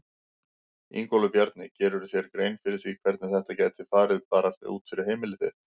Ingólfur Bjarni: Gerirðu þér grein fyrir því hvernig þetta gæti farið bara fyrir heimili þitt?